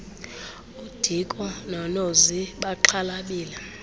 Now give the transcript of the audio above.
udiko nonozi baxhalabile